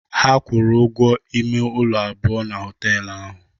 Ha kwụrụ ụgwọ ime ụlọ abụọ na họtel ahụ.